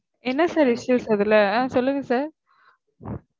என்ன sir issues இதுல? அஹ் சொல்லுங்க sir